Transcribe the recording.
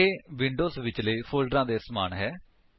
ਇਹ ਵਿੰਡੋਜ ਵਿੱਚਲੇ ਫੋਲਡਰਾਂ ਦੇ ਸਮਾਨ ਹੈ